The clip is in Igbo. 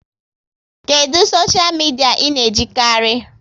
Kedụ soshia midia ị na-ejikarị?